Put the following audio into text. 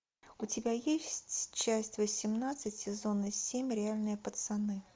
у тебя есть часть восемнадцать сезона семь реальные пацаны